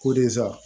Ko desa